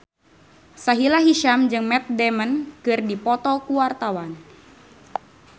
Sahila Hisyam jeung Matt Damon keur dipoto ku wartawan